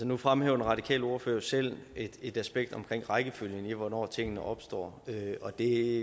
nu fremhæver den radikale ordfører jo selv et aspekt omkring rækkefølgen for hvornår tingene opstår og det